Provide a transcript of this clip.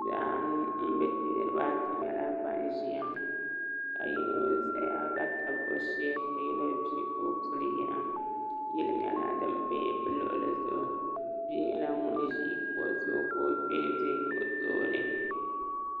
Niriba ata yɛla bani ziya ka yino zaya ka tabi o shɛɛ ka yino vii ka o puli yina yilli yɛla dini bɛ bi luɣuli zuɣu bia yɛla ŋuni zi o zuɣu ka o kpɛɛ bɛ o tooni .